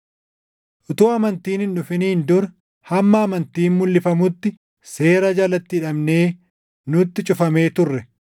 Utuu amantiin hin dhufiniin dura hamma amantiin mulʼifamutti seera jalatti hidhamnee nutti cufamee turre.